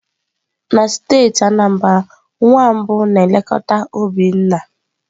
Na steeti Anambra, nwa mbụ na-eketa obi nna.